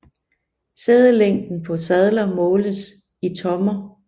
Sædelængden på sadler måles i tommer